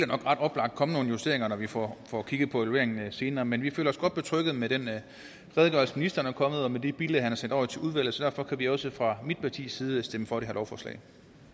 ret oplagt komme nogle justeringer når vi får får kigget på evalueringen senere men vi føler os godt betrygget med den redegørelse ministeren er kommet med og med de bilag han har sendt over til udvalget så derfor kan vi også fra mit partis side stemme for det her lovforslag